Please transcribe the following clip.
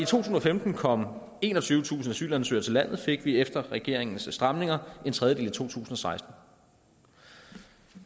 tusind og femten kom enogtyvetusind asylansøgere til landet fik vi efter regeringens stramninger en tredjedel i tusind og seksten